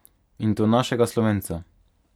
In to našega slovenca.